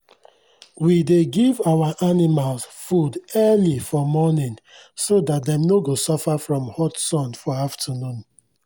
we dey give our animals food early for morning so that dem no go suffer from hot sun for afternoon.